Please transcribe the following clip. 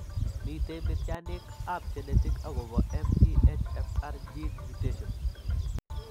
Miten mityaaniikap genetic akopo MTHFR gene mutations.